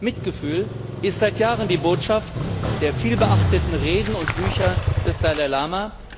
Mitgefühl ist seit Jahren die Botschaft der vielbeachteten Reden und Bücher des Dalai Lama.